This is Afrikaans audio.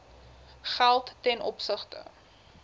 geld ten opsigte